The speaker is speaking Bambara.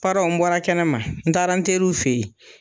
Paranw n bɔra kɛnɛ ma, n taara n teriw fɛ yen.